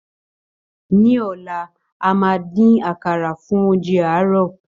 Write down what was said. Ní ọlá, a máa dín àkàrà, fún oúnjẹ àárọ̀.